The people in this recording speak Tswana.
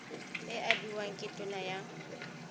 e abiwang ke tona ya